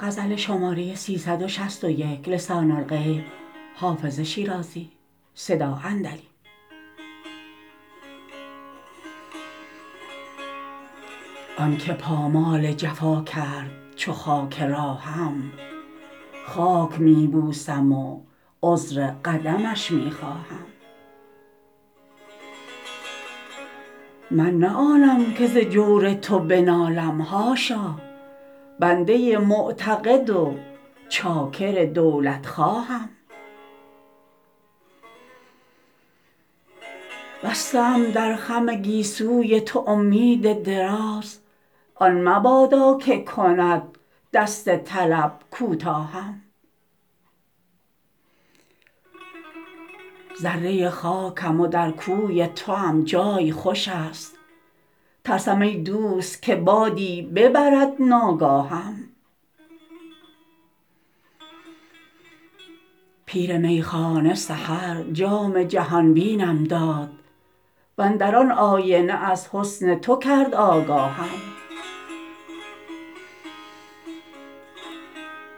آن که پامال جفا کرد چو خاک راهم خاک می بوسم و عذر قدمش می خواهم من نه آنم که ز جور تو بنالم حاشا بنده معتقد و چاکر دولتخواهم بسته ام در خم گیسوی تو امید دراز آن مبادا که کند دست طلب کوتاهم ذره خاکم و در کوی توام جای خوش است ترسم ای دوست که بادی ببرد ناگاهم پیر میخانه سحر جام جهان بینم داد و اندر آن آینه از حسن تو کرد آگاهم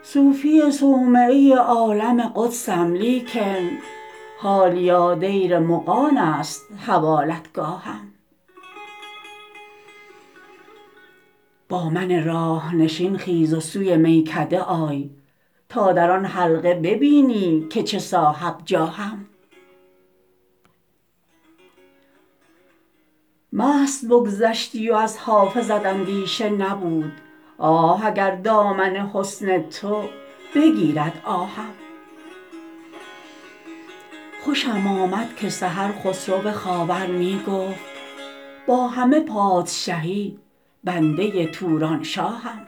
صوفی صومعه عالم قدسم لیکن حالیا دیر مغان است حوالتگاهم با من راه نشین خیز و سوی میکده آی تا در آن حلقه ببینی که چه صاحب جاهم مست بگذشتی و از حافظت اندیشه نبود آه اگر دامن حسن تو بگیرد آهم خوشم آمد که سحر خسرو خاور می گفت با همه پادشهی بنده تورانشاهم